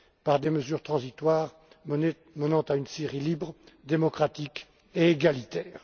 par des mesures transitoires menant à une Syrie libre, démocratique et égalitaire.